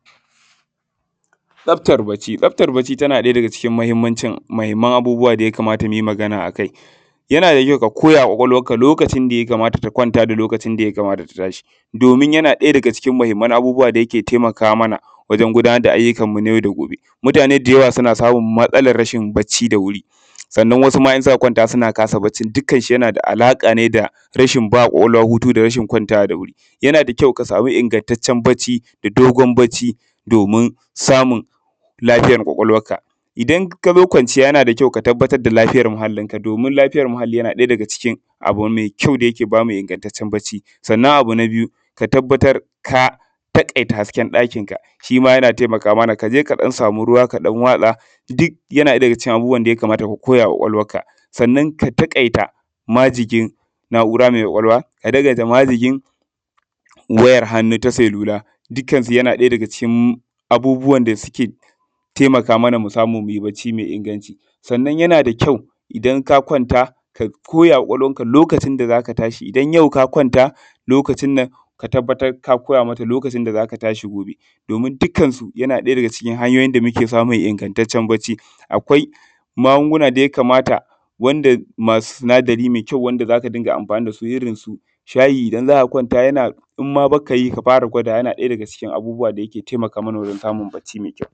Tsaftar bacci, tsaftar bacci na ga cikin muhimman abubuwan da ya kamata mu yi magana a kai yana da ƙyau ka koya wa ƙwaƙwalwarka lokacin da ya kamata ta kwanta da lokacin da ya kamata ta tashi domin yana ɗaya daga cikin muhimman abubuwan da yake taimaka mana wajen gudanar da ayyukanmu na yau da gobe. Mutune da yawa suna samun matsalar rashin bacci da wuri Sannan wasu ma in suka kwanta suna kasa baccin yana da alaƙa ne da rashin ƙwaƙwalwa hutu da rashin kwanciya da wuri ya a da ƙyau ka sama ingantaccen bacci da dogon bacci domin samun lafiya ƙwaƙwalwarka. Ina ka zo kwanciya yana da ƙyau ka tabbatar da lafiyar muhallinka domin lafiya muhalli yana ɗaya daga cikin abu mai ƙyau dake ingantacce bacci Sannan abu na biyu ka tabbatar ka taƙaita hasken dakinka shi ma yana taimaka mana ka je ka sama ruwa ka ɗan watsa domin yana cikin abun ya kamar ka koya wa ƙwaƙwalwarka ka taƙaita majigin na'ura mai ƙwaƙwalwa ka taƙaita wayar hannu ta salula dukkansu yan cikin yana cikin abubuwan da suke taimaka mana mu samu mu yi bacci mai inganci Sannan yana da ƙyau idan ka kwanta ka koya wa ƙwaƙwalwarka lokacin da za ka tashi. Idan ka kwanta ka koya lokacin da za ka tashi domin dukkansu yan cikin hanyoyin da muke samun inagantacce bacci. Akwai magunguna da ya kamata wanda akwai sunadarai masu inganci da za ka riƙa amfani da su irinsu shayi idan za ka kwanta. In ma ba ka yi to ka fara yi zai taimaka mana wajen samun bacci mai ƙyau.